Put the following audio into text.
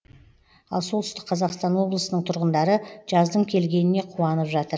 ал солтүстік қазақстан облысының тұрғындары жаздың келгеніне қуанып жатыр